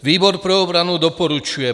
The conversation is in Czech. Výbor pro obranu doporučuje